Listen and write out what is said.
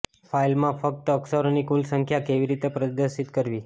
ફાઇલમાં ફક્ત અક્ષરોની કુલ સંખ્યા કેવી રીતે પ્રદર્શિત કરવી